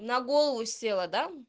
на голову села да